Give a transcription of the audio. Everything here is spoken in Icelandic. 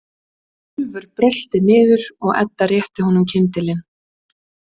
Úlfur brölti niður og Edda rétti honum kyndilinn.